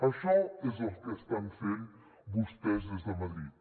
això és el que estan fent vostès des de madrid